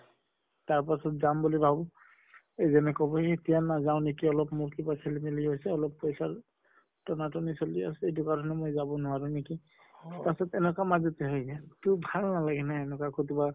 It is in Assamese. তাৰ পাছত যাম বুলি ভাবো এতিয়া নাযাও নেকি অলপ মোৰ কিবা খেলি মেলি হৈছে, অলপ পছাৰ টনাট্নি চলি আছে এইটো কাৰণে মই যাব নোৱাৰো নেকি পাছত এনকা মাজতে হৈ গেল। তʼ ভাল নালাগে ন এনকা কতোবা